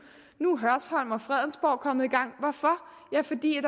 nu er hørsholm og fredensborg kommet i gang hvorfor ja fordi